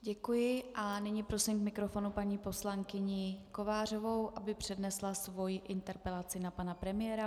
Děkuji a nyní prosím k mikrofonu paní poslankyni Kovářovou, aby přednesla svoji interpelaci na pana premiéra.